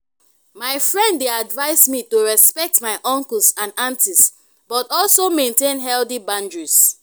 my friend dey advise me to respect my uncles and aunties but also maintain healthy boundaries.